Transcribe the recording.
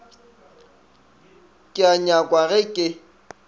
ke a nyakwa ge ke